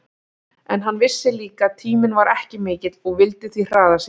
En hann vissi líka að tíminn var ekki mikill og vildi því hraða sér.